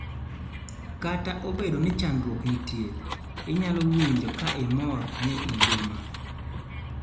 kata obedo ni chandruok nitie, inyalo winjo ka imor ni ingima